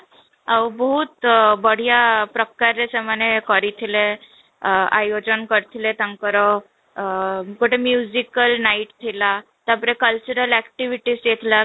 ଆଉ ବହୁତ ବଢିଆ ପ୍ରକାର ରେ ସେମାନେ କରିଥିଲେ, ଆଃ ଆୟୋଜନ କରିଥିଲେ ତାଙ୍କର ଗୋଟେ al night ଥିଲା ତାପରେ cultural activities ହେଇଥିଲା